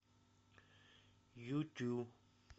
юту